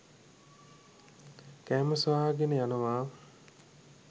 කෑම සොයාගෙන යනවා.